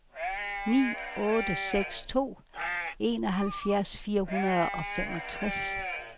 ni otte seks to enoghalvfjerds fire hundrede og femogtres